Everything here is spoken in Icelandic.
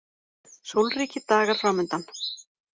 Sólríkir dagar framundan